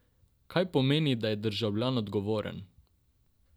Kaj pomeni, da je državljan odgovoren?